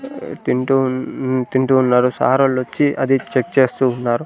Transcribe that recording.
తింటూ ఉన్ తింటూ ఉన్నారు సారోళ్లొచ్చి అది చెక్ చేస్తూ ఉన్నారు.